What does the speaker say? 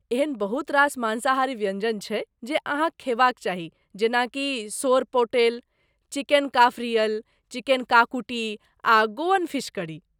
एहन बहुत रास मांसाहारी व्यञ्जन छै जे अहाँक खेबाक चाही जेनाकि सोरपोटेल, चिकन काफरियल, चिकन काकुटि आ गोअन फीश करी।